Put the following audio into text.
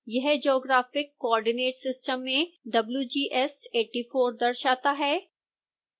यह geographic coordinate system में wgs84 दर्शाता है